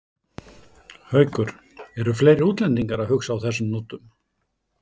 Haukur: Eru fleiri útlendingar að hugsa á þessum nótum?